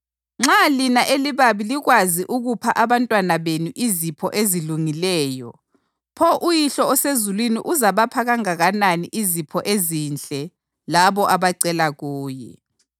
Nxa lina elibabi likwazi ukupha abantwabenu izipho ezilungileyo, pho uYihlo osezulwini uzabapha kangakanani izipho ezinhle labo abacela kuye!